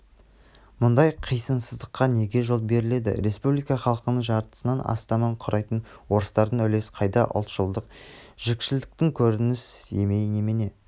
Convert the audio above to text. мұндай қисынсыздыққа неге жол беріледі республика халқының жартысынан астамын құрайтын орыстардың үлес қайда ұлтшылдық жікшілдіктің көрініс емей немене